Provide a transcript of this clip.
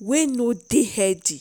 wey no dey healthy.